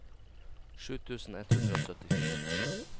sju tusen ett hundre og syttifire